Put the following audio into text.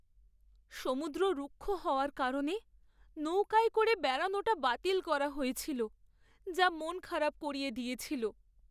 সমুদ্র রুক্ষ হওয়ার কারণে নৌকায় করে বেড়ানোটা বাতিল করা হয়েছিল যা মন খারাপ করিয়ে দিয়েছিল।